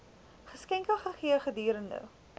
geskenke gegee gedurende